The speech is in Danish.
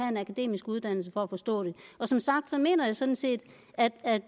en akademisk uddannelse for at forstå dem som sagt mener jeg sådan set at